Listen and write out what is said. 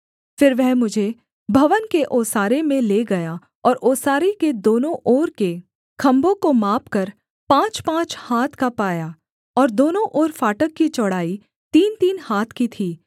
फिर वह मुझे भवन के ओसारे में ले गया और ओसारे के दोनों ओर के खम्भों को मापकर पाँचपाँच हाथ का पाया और दोनों ओर फाटक की चौड़ाई तीनतीन हाथ की थी